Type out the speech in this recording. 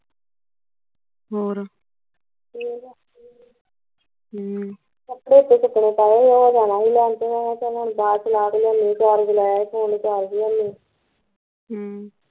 ਹੋਰ ਹਮ ਹਮ ਕੱਪੜੇ ਤੇ ਕੱਪੜੇ ਪਏ ਸੀ ਤੇ ਹੁਣ ਉਹ ਜਾਣਾ ਲੈਣ phone charge ਹੈਨੀ ਹਮ